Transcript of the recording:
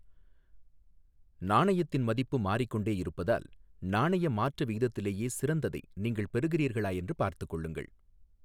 நாணயத்தின் மதிப்பு மாறிக்கொண்டே இருப்பதால், நாணய மாற்று விகிதத்திலேயே சிறந்ததை நீங்கள் பெறுகிறீர்களா என்று பார்த்துக்கொள்ளுங்கள்.